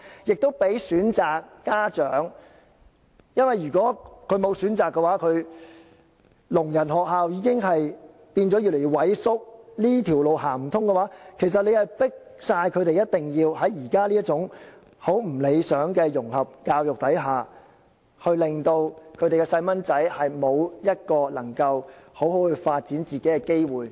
此做法亦可讓有關家長有選擇，聾人學校已經越來越萎縮，如果這條路行不通的話，其實是迫使他們一定要在現時這種極不理想的融合教育之下，令他們的小朋友沒有一個能夠好好發展自己的機會。